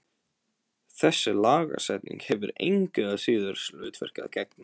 Þessi lagasetning hefur engu að síður hlutverki að gegna.